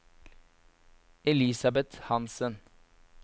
Elisabet Hanssen